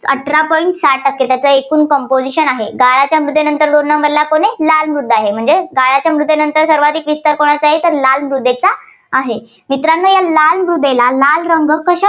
अठरा point सहा टक्के एकूण composition आहे. गाळाच्या मृदेनंतर दोन number ला कोण आहे लाल मृदा आहे. म्हणजे गाळच्या मृदेनंतर सर्वाधिक विस्तार कोणाचा आहे तर लाल मृदेचा आहे. मित्रांनो लाल मृदेला लाल रंग कसा